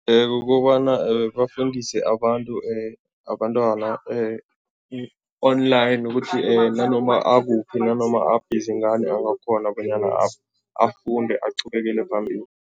Kukobana bafundise abantu abantwana online ukuthi nanoma akuphi, nanoma abhizi ngani angakghona bonyana afunde, aqhubekele phambili.